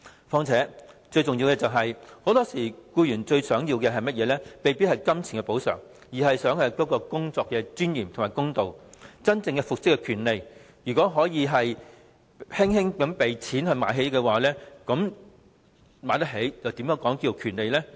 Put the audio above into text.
況且，最重要的是，僱員很多時候最想得到的，未必是金錢的補償，而是工作的尊嚴和公道，以及真正復職的權利，如果可以輕輕用錢"買起"，又怎能稱為權利？